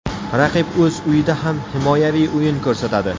Raqib o‘z uyida ham himoyaviy o‘yin ko‘rsatadi.